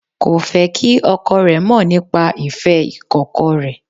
Kò fé kí ọkọ rẹ̀ mọ̀ nípa ìfẹ́ ìkọ̀kọ̀ rẹ̀